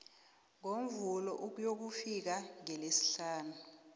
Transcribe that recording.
ngomvulo ukuyokufika ngelesihlanu